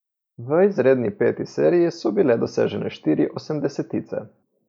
V izredni peti seriji so bile dosežene štiri osemdesetice.